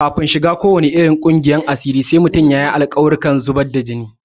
Kafin a shiga ko wane ƙungiyar asiri sai mutum ya yi wasu alƙawarurruka da zubar da jini.